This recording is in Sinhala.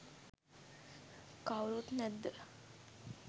කවුරුත් නැද්ද?